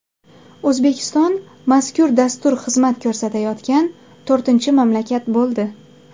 O‘zbekiston mazkur dastur xizmat ko‘rsatayotgan to‘rtinchi mamlakat bo‘ldi.